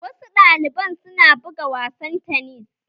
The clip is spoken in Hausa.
Wasu ɗalibai su na buga wasan tanis